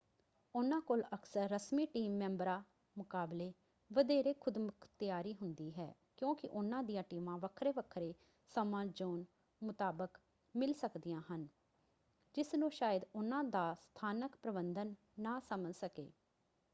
ਉਹਨਾਂ ਕੋਲ ਅਕਸਰ ਰਸਮੀ ਟੀਮ ਮੈਂਬਰਾਂ ਮੁਕਾਬਲੇ ਵਧੇਰੇ ਖ਼ੁਦਮੁਖ਼ਤਿਆਰੀ ਹੁੰਦੀ ਹੈ ਕਿਉਂਕਿ ਉਹਨਾਂ ਦੀਆਂ ਟੀਮਾਂ ਵੱਖਰੇ-ਵੱਖਰੇ ਸਮਾਂ-ਜ਼ੋਨ ਮੁਤਾਬਕ ਮਿਲ ਸਕਦੀਆਂ ਹਨ ਜਿਸਨੂੰ ਸ਼ਾਇਦ ਉਹਨਾਂ ਦਾ ਸਥਾਨਕ ਪ੍ਰਬੰਧਨ ਨਾ ਸਮਝ ਸਕੇ।